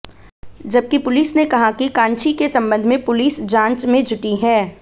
जबकि पुलिस ने कहा कि कांची के संबंध में पुलिस जांच में जुटी है